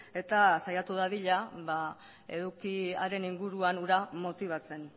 eta saiatu dadila edukiaren inguruan hura motibatzen